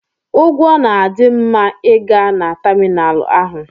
Ụgwọ na-adị ma ị gaa na tamịnalụ ahụ.